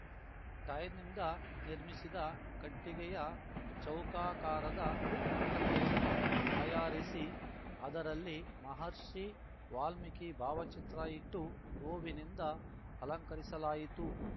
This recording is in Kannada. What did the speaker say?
ಟೈರ್‌ನಿಂದ ನಿರ್ಮಿಸಿದ ಕಟ್ಟಿಗೆಯ ಚೌಕಾಕಾರದ ಮಂಟಪವನ್ನು ತಯಾರಿಸಿ ಅದರಲ್ಲಿ ಮಹರ್ಷಿ ವಾಲ್ಮೀಕಿ ಭಾವಚಿತ್ರ ಇಟ್ಟು ಹೂವಿನಿಂದ ಅಲಂಕರಿಸಲಾಯಿತು